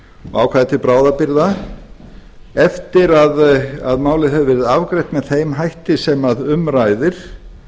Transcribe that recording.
ákvæði til bráðabirgða eftir að málið hefur verið afgreitt með þeim hætti sem um ræðir